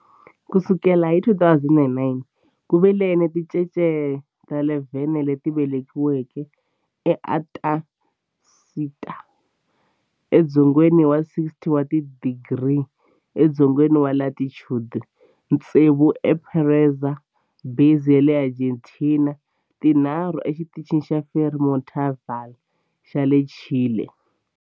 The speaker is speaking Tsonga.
Ku sukela hi 2009, ku ve ni tincece ta 11 leti velekiweke eAntarctica, edzongeni wa 60 wa tidigri edzongeni wa latitude, tsevu eEsperanza Base ya le Argentina ni tinharhu eXitichini xa Frei Montalva xa le Chile.